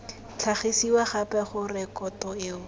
tlhagisiwa gape ga rekoto eo